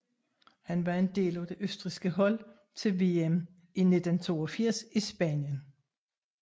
Han var en del af det østrigske hold til VM i 1982 i Spanien